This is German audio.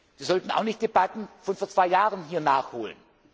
wird. Sie sollten auch nicht Debatten von vor zwei Jahren hier nachholen.